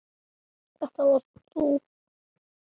Þetta varst þú.